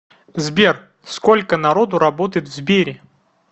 сбер сколько народу работает в сбере